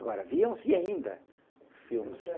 Agora, viam-se ainda filmes...